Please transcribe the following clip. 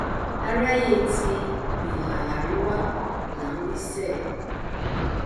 aráyé ti ìhà àríwá là ń wí sẹẹ